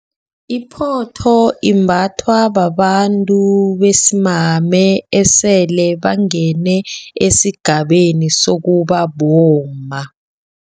Iphotho imbathwa babantu besimame, esele bangene esigabeni sokuba bomma.